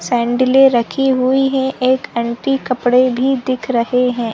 सैंडीले रखी हुई है एक आंटी कपड़े भी दिख रहै हैं।